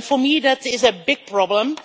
For me that is a big problem,